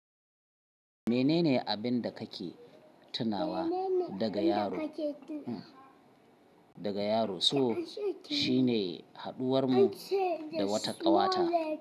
Menene abin da kake tunawa daga yaro? Daga yaro so shine haɗuwar mu da wata ƙawata.